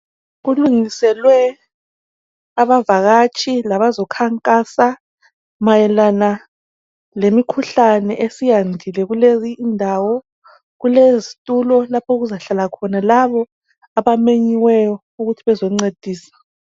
Kulungiselwe abavakatshi labezekhankasa, mayelana lemikhuhlane esiyandile kuleyi indawo. Kulezitulo lapha okuzahlala khona labo abamenyiweyo, ukuthi bazoncedisa.